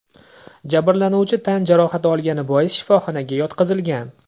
Jabrlanuvchi tan jarohati olgani bois shifoxonaga yotqizilgan.